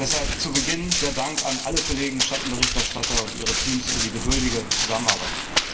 Deshalb zu Beginn der Dank an alle Kollegen Schattenberichterstatter und ihre Teams für die geduldige Zusammenarbeit.